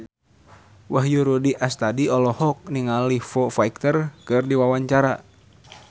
Wahyu Rudi Astadi olohok ningali Foo Fighter keur diwawancara